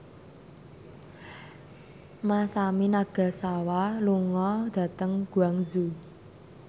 Masami Nagasawa lunga dhateng Guangzhou